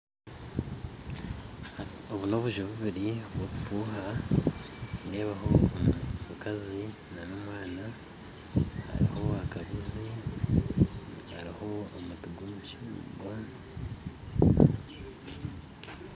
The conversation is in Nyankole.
Obu n'obuju bubiri bw'obufuha nindeebaho omukazi na nomwana hariho akabuzi hariho omuti gw'omucungwa